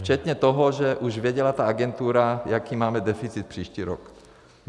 Včetně toho, že už věděla ta agentura, jaký máme deficit příští rok.